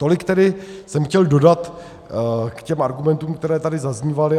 Tolik tedy jsem chtěl dodat k těm argumentů, které tady zaznívaly.